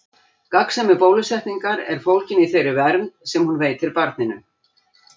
Gagnsemi bólusetningar er fólgin í þeirri vernd sem hún veitir barninu.